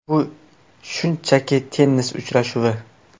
Bu shunchaki tennis uchrashuvi.